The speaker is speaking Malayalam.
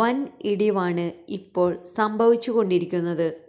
വൻ ഇടിവാണ് ഇപ്പോൾ സംഭവിച്ചുകൊണ്ടിരിക്കുന്നത്